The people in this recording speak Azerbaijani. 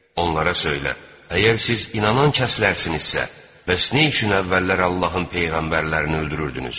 Onlara söylə: “Əgər siz inanan kəslərsinizsə, bəs nə üçün əvvəllər Allahın peyğəmbərlərini öldürürdünüz?”